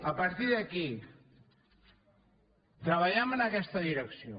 a partir d’aquí treballem en aquesta direcció